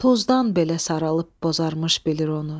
Tozdan belə saralıb bozarmış bilir onu.